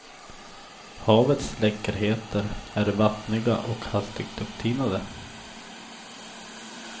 Havets läckerheter är vattniga och hastigt upptinade.